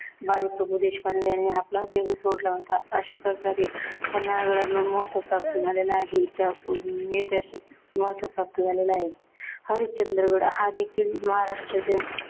बाजीप्रभू देशपांडे ह्यांनी आपला देह सोडला होता. अशाप्रकारे पन्हाळगडला महत्व प्राप्त झालेलं आहे. ऐतिहासिक महत्व प्राप्त झालेलं आहे. हरिश्चंद्रगड हा देखील महाराष्ट्राचे